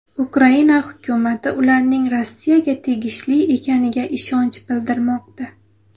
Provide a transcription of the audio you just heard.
Ukraina hukumati ularning Rossiyaga tegishli ekaniga ishonch bildirmoqda.